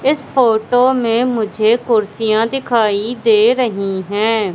इस फोटो में मुझे कुर्सियां दिखाई दे रही हैं।